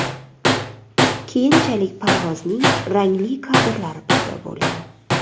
Keyinchalik parvozning rangli kadrlari paydo bo‘lgan.